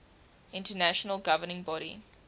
international governing body